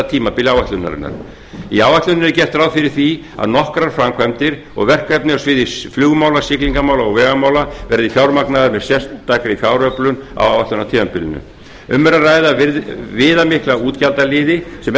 tímabili áætlunarinnar í áætluninni er gert ráð fyrir því að nokkrar framkvæmdir og verkefni á sviði flugmála siglingamála og vegamála verði fjármagnaðar með sérstakri fjáröflun á áætlunartímabilinu um er að ræða viðamikla útgjaldaliði sem